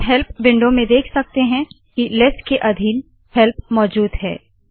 हम help window में देख सकते है की लेस के अधीन हेल्प मौजूद है